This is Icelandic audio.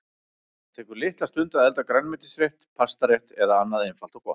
Það tekur litla stund að elda grænmetisrétt, pastarétt eða annað einfalt og gott.